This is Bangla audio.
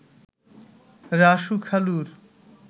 রাসু খালুর